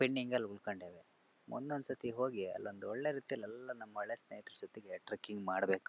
Pending ಅಲ್ಲಿ ಉಳಕೊಂಡವೇ ಮುಂದೊಂದ ಸತಿ ಹೋಗಿ ಅಲೊಂದು ಒಳ್ಳೆ ರೀತಿಯಲ್ಲಿಎಲ್ಲಾ ನಮ್ಮ ಹಳೆ ಸೇಹಿತರ ಜೊತೆಗೆ ಟ್ರೆಕಿಂಗ್ ಮಾಡಬೇಕು.